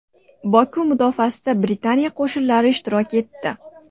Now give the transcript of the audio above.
Boku mudofaasida Britaniya qo‘shinlari ishtirok etdi.